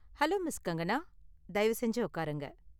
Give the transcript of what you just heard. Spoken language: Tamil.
Hello, miss. கங்கனா! தயவு செஞ்சு உக்காருங்க.